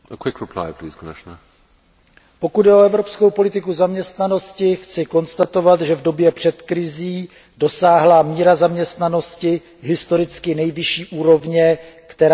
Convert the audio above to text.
Pokud jde o evropskou politiku zaměstnanosti, chci konstatovat, že v době před krizí dosáhla míra zaměstnanosti historicky nejvyšší úrovně, která kdy v Evropě existovala.